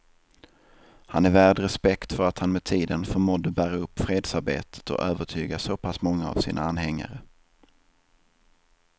Han är värd respekt för att han med tiden förmådde bära upp fredsarbetet och övertyga så pass många av sina anhängare.